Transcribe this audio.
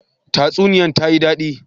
Tsasuniyan ta yi dadi.